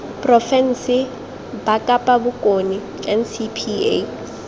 porofense ba kapa bokone ncpa